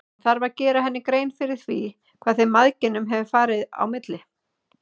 Hann þarf að gera henni grein fyrir því hvað þeim mæðginum hefur farið á milli.